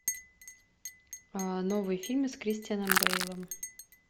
новые фильмы с кристианом бейлом